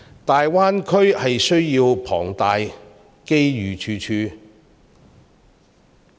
大灣區需求龐大，機遇處處。